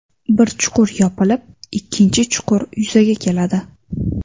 Bir chuqur yopilib, ikkinchi chuqur yuzaga keladi.